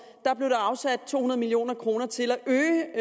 blev der afsat to hundrede million kroner til at øge